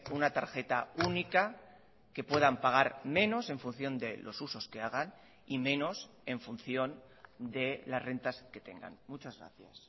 una tarjeta única que puedan pagar menos en función de los usos que hagan y menos en función de las rentas que tengan muchas gracias